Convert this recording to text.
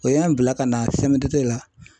O y'an bila ka na CMTT la.